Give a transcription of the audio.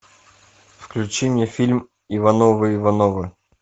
включи мне фильм ивановы ивановы